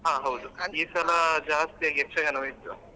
ಈ ಸಲ ಜಾಸ್ತಿಯಾಗಿ ಯಕ್ಷಗಾನವೇ ಇತ್ತು.